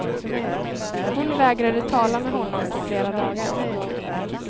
Hon vägrade tala med honom på flera dagar.